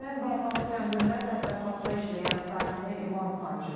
Şəkinin Baltalı kəndində təsərrüfatda işləyən sakini ilan sancıb.